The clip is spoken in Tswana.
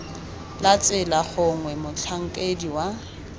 la tsela gongwe motlhankedi wa